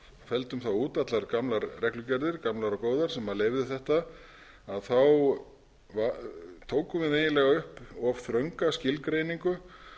felldum þá út allar gamlar og góðar reglugerðir sem leyfðu þetta þá tókum við eiginlega upp of þrönga skilgreiningu